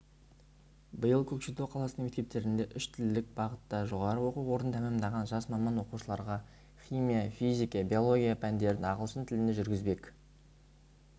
биыл көкшетау қаласының мектептерінде үштілділік бағытында жоғары оқу орнын тәмәмдаған жас маман оқушыларға химия физика биология пәндерін ағылшын тілінде жүргізбек